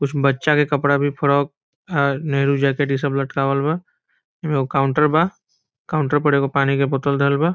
कुछ बच्चा के कपड़ा भी फ्रोक नेहरु जैकेट इ सब लटकावल बा एमे एगो काउंटर बा काउंटर पर एगो पानी के बोतल धइल बा।